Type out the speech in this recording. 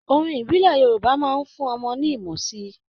Orin ìbílẹ̀ Yorúbà ń fún ọmọdé ní ìmọ̀ síi.